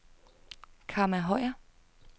Kamma Høyer